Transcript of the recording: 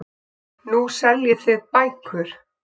Nú seljið þið bækur.